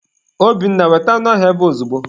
Obinna, weta anụ ahụ ebe a ozugbo!